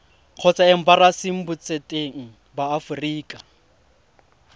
kgotsa embasing botseteng ba aforika